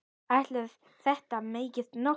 Ætli þetta megi nokkuð?